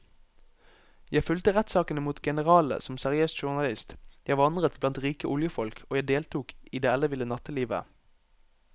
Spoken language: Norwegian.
Jeg fulgte rettssakene mot generalene som seriøs journalist, jeg vandret blant rike oljefolk og jeg deltok i det elleville nattelivet.